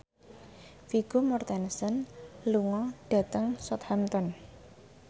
Vigo Mortensen lunga dhateng Southampton